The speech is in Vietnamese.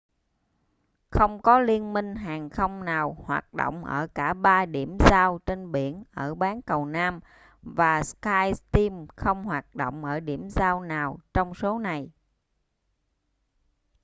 không có liên minh hàng không nào hoạt động ở cả ba điểm giao trên biển ở bán cầu nam và skyteam không hoạt động ở điểm giao nào trong số này